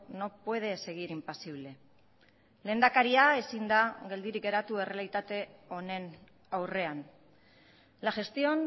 no puede seguir impasible lehendakaria ezin da geldirik geratu errealitate honen aurrean la gestión